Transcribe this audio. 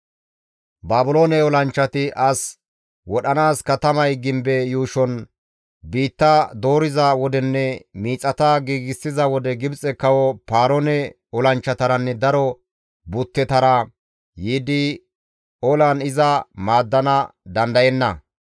Baabiloone olanchchati as wodhanaas katamay gimbe yuushon biitta dooriza wodenne miixata giigsiza wode Gibxe kawo Paaroone olanchchataranne daro buttetara yiidi olan iza maaddana dandayenna.